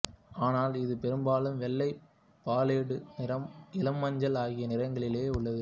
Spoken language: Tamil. ஆனால் இது பெரும்பாலும் வெள்ளை பாலேட்டு நிறம் இளமஞ்சள் ஆகிய நிறங்களிலேயே உள்ளது